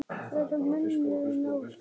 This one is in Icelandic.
hver er munurinn á því?